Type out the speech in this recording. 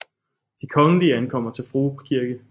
De Kongelige ankommer til Frue Kirke